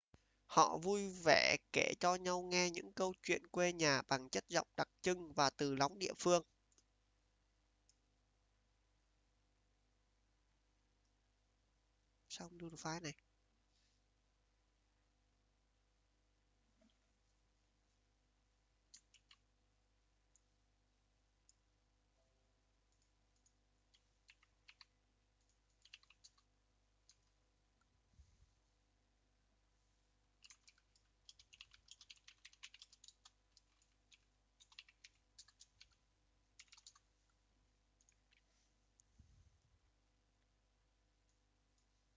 họ vui vẻ kể cho nhau nghe những câu chuyện quê nhà bằng chất giọng đặc trưng và từ lóng địa phương